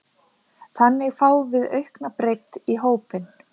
Þannig fáum við aukna breidd í hópinn.